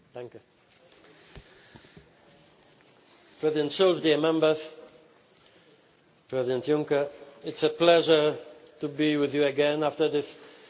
Mr President, it is a pleasure to be with you again after this month's meeting of the European Council.